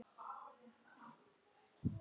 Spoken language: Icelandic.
Hvernig myndir þú lýsa því?